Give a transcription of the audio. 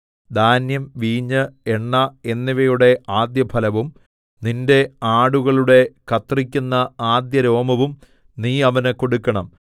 ധാന്യം വീഞ്ഞ് എണ്ണ എന്നിവയുടെ ആദ്യഫലവും നിന്റെ ആടുകളുടെ കത്രിക്കുന്ന ആദ്യരോമവും നീ അവന് കൊടുക്കണം